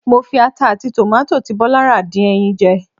Mo fi ata àti tòmátì tí Bọ́lá rà dín ẹyin jẹ.